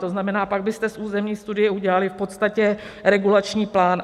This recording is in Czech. To znamená, pak byste z územní studie udělali v podstatě regulační plán.